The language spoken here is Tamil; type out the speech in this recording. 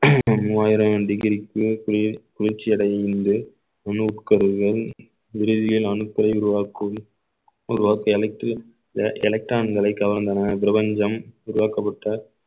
மூவாயிரம் degree க்கு குளி~ குளிர்ச்சி அடையும் என்று உணவு கருதுதல் விடுதியில் அணுக்களை உருவாக்கும் உருவாக்கி அழித்து இந்த electron களை கவர்ந்தன பிரபஞ்சம் உருவாக்கப்பட்ட